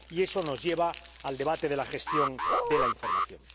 Y eso nos lleva al debate de la gestión de la información.